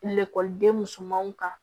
Lakɔliden musomanw kan